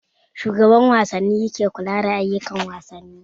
Shugaban wasanni ke kula da ayukan wasanni